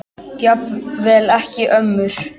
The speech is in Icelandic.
Jafnvel ekki ömmur.